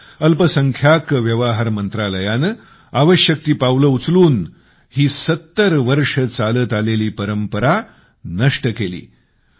आमच्या अल्पसंख्यांक व्यवहार मंत्रालयाने आवश्यक ती पावलं उचलून ही 70 वर्षे चालत आलेली परंपरा नष्ट केली